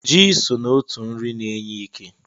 Ji so n'otu nri na-enye ike.